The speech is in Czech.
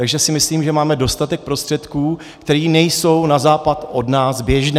Takže si myslím, že máme dostatek prostředků, které nejsou na západ od nás běžné.